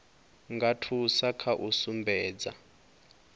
nga thusa kha u sumbedza